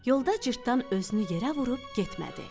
Yolda cırtdan özünü yerə vurub getmədi.